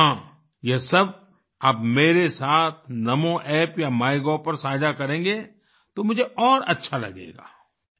और हाँ यह सब आप मेरे साथ NamoApp या माइगोव पर साझा करेंगे तो मुझे और अच्छा लगेगा